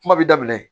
Kuma bi daminɛ